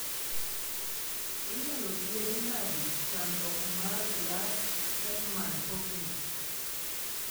Inyalo thiedhi nade Chandruok mar Glass Chapman Hockley?